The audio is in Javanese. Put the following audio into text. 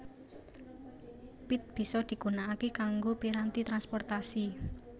Pit bisa digunakake kanggo piranti transportasi